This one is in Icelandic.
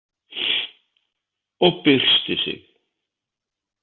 Og byrstir sig.